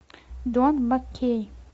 дон маккей